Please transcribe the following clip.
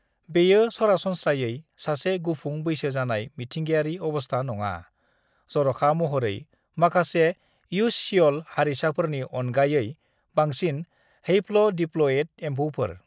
"बेयो सरासनस्रायै सासे गुफुं बैसो जानाय मिथिंगायारि अबस्था नङा, जर'खा महरै माखासे युससियल हारिसाफोरनि अनगायै, बांसिनै हैप्ल'डिप्ल'इड एम्फौफोर।"